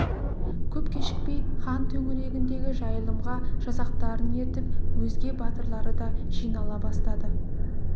көп кешікпей хан төңірегіндегі жайылымға жасақтарын ертіп өзге батырлары да жинала бастады